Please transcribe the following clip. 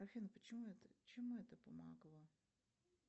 афина чему это помогло